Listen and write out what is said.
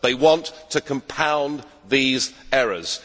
They want to compound these errors.